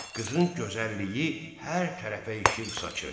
Qızın gözəlliyi hər tərəfə işıq saçır.